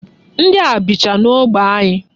Ndị a bicha n'ógbè anyị.